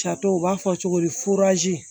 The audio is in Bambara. Jatɛw u b'a fɔ cogo di